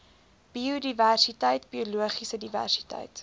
biodiversiteit biologiese diversiteit